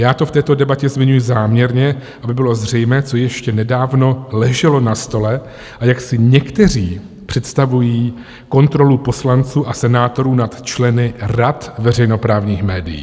Já to v této debatě zmiňuji záměrně, aby bylo zřejmé, co ještě nedávno leželo na stole a jak si někteří představují kontrolu poslanců a senátorů nad členy rad veřejnoprávních médií.